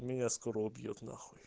меня скоро убьют нахуй